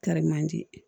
Kari man di